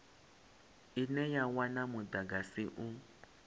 ine ya wana mudagasi u